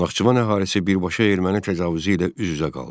Naxçıvan əhalisi birbaşa erməni təcavüzü ilə üz-üzə qaldı.